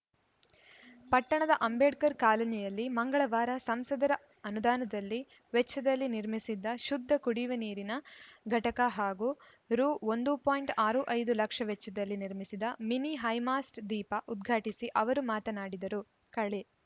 ಪಟ್ಟಣದ ಅಂಬೇಡ್ಕರ್‌ ಕಾಲೋನಿಯಲ್ಲಿ ಮಂಗಳವಾರ ಸಂಸದರ ಅನುದಾನದಲ್ಲಿ ವೆಚ್ಚದಲ್ಲಿ ನಿರ್ಮಿಸಿದ್ದ ಶುದ್ಧ ಕುಡಿಯುವ ನೀರಿನ ಘಟಕ ಹಾಗೂ ರು ಒಂದು ಪಾಯಿಂಟ್ ಆರು ಐದು ಲಕ್ಷ ವೆಚ್ಚದಲ್ಲಿ ನಿರ್ಮಿಸಿದ ಮಿನಿ ಹೈಮಾಸ್ಟ್‌ ದೀಪ ಉದ್ಘಾಟಿಸಿ ಅವರು ಮಾತನಾಡಿದರು ಕಳೆ